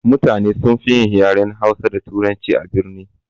Mutane sunfi yin yaren hausa da turanci a birni.